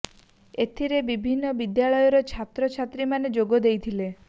ଏଥିରେ ବିଭିନ୍ନ ବିଦ୍ୟାଳୟ ର ଛାତ୍ର ଛାତ୍ରୀ ମାନେ ଯୋଗ ଦେଇଥିଲେ